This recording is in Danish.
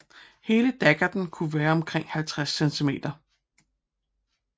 Hele daggerten kunne være omkring 50 cm